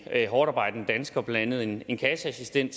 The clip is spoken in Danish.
hårdtarbejdende danskere blandt andet en kasseassistent